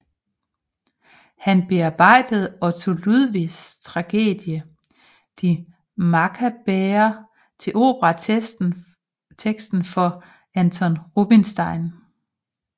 Han bearbejdede Otto Ludwigs tragedie Die Makkabäer til operatekst for Anton Rubinstein